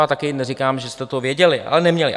Já taky neříkám, že jste to věděli, ale neměli.